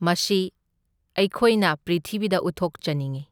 ꯃꯁꯤ ꯑꯩꯈꯣꯏꯅ ꯄ꯭ꯔꯤꯊꯤꯕꯤꯗ ꯎꯠꯊꯣꯛꯆꯅꯤꯡꯢ꯫